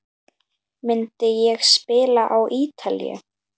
Myndi ég spila á Ítalíu?